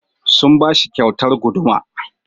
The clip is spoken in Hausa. Sun ba shi kyautar guduma.